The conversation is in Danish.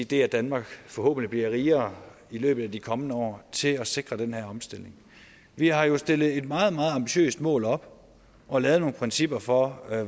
det at danmark forhåbentlig bliver rigere i løbet af de kommende år til at sikre den her omstilling vi har jo stillet et meget meget ambitiøst mål op og lavet nogle principper for